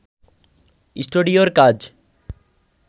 স্টুডিওর কাজ